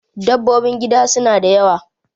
Dabbobin gida suna da yawa